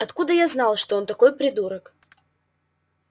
откуда я знал что он такой придурок